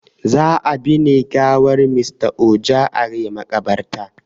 Za a ɓine gawar Mr Ojo are makaɓarta